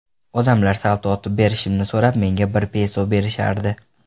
Odamlar salto otib berishimni so‘rab, menga bir peso berishardi.